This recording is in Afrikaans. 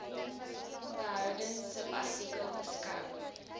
behoudens subartikel beskou